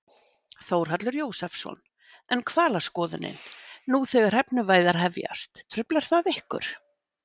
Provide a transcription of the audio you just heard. Þórhallur Jósefsson: En hvalaskoðunin, nú þegar hrefnuveiðar hefjast, truflar það ykkur?